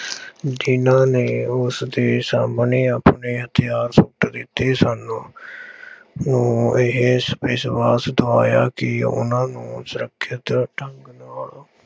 ਜਿੰਨ੍ਹਾ ਨੇ ਉਸਦੇ ਸਾਹਮਣੇ ਆਪਣੇ ਹਥਿਆਰ ਸੁੱਟ ਦਿੱਤੇ ਸਨ। ਉਹ ਇਹ ਵਿਸ਼ਵਾਸ ਦਿਵਾਇਆ ਕਿ ਉਹ ਉਹਨਾ ਨੂੰ ਸੁਰੱਖਿਅਤ ਢੰਗ ਨਾਲ